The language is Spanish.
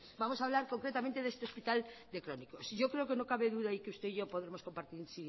vamos hablar concretamente de este hospital de crónicos yo creo que no cabe duda y que usted y yo podemos compartir